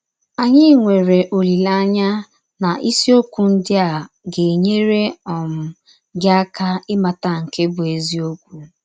Anyị nwere ọlileanya na isiọkwụ ndị a ga - enyere um gị aka ịmata nke bụ́ eziọkwụ.